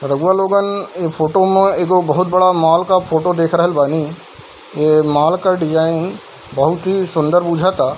रउआ लोगन ई फोटो में एगो बहुत बड़ा मॉल का फोटो देख रहल बानी | ये मॉल का डिज़ाइन बहुत ही सुन्दर बुझता |